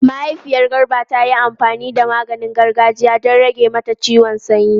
Mahaifiyar Garba ta yi amfani da maganin gargajiya don rage mata ciwon sanyi.